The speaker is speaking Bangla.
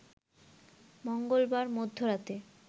মঙ্গলবার মধ্যরাতে